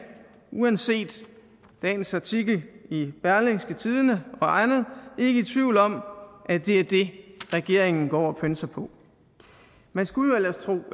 uanset dagens artikel i berlingske og andet ikke i tvivl om at det er det regeringen går og pønser på man skulle jo ellers tro